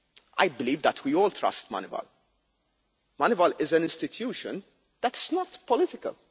I believe that we all trust Moneyval. It is an institution that is not political.